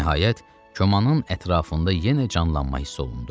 Nəhayət, komanın ətrafında yenə canlanma hiss olundu.